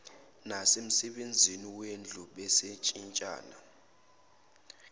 nasemsebenzini wendlu babeshintshana